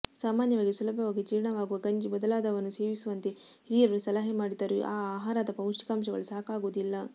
ಸಾಮಾನ್ಯವಾಗಿ ಸುಲಭವಾಗಿ ಜೀರ್ಣವಾಗುವ ಗಂಜಿ ಮೊದಲಾದವನ್ನು ಸೇವಿಸುವಂತೆ ಹಿರಿಯರು ಸಲಹೆ ಮಾಡಿದರೂ ಈ ಆಹಾರದ ಪೌಷ್ಟಿಕಾಂಶಗಳು ಸಾಕಾಗುವುದಿಲ್ಲ